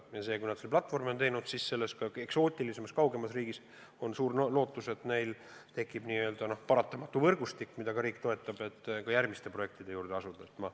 Ja kui nad selle platvormi on teinud, siis on lootus, et selles eksootilises kauges riigis tekib võrgustik, mida ka riik toetab, et järgmiste projektide juurde asuda.